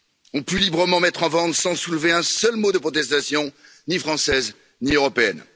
ont pu librement mettre en vente sans soulever un seul mot de protestation, ni française, ni européenne.